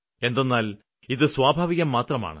എന്തെന്നാല് ഇത് സ്വാഭാവികം മാത്രമാണ്